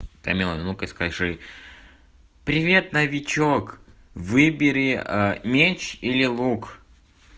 тамила ну-ка скажи привет новичок выбери меч или лук